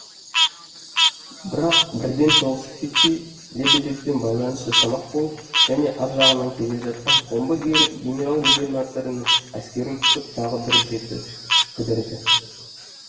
бірақ бірден соғысып кетпей лебедевпен байланыс жасамақ болып және ар жағынан келе жатқан омбы генерал губернаторының әскерін күтіп тағы бір жеті кідірді